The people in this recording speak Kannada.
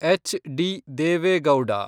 ಎಚ್.ಡಿ. ದೇವೆ ಗೌಡ